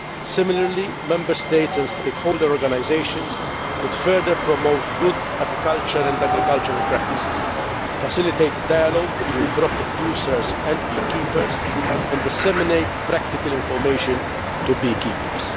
Similarly, Member States and stakeholder organisations could further promote good apiculture and agricultural practices, facilitate the dialogue between crop producers and bee keepers, and disseminate practical information to bee keepers.